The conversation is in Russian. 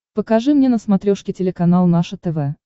покажи мне на смотрешке телеканал наше тв